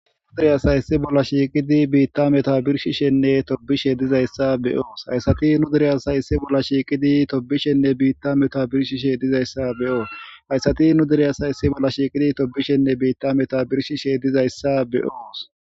Nu direyasayssi bolla shiiqidi biitta meta birshi shenne tobishe dizayssa be oos hayssati nu diriya sayssi bolla shiiqidi tobishenne biitta meta birshishe dizayssa be'oo hayssati nu direyasayssi bolla shiiqidi tobishenne biitta meta birshi she dizayssa be'oos.